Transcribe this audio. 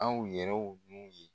Anw yɛrɛw ye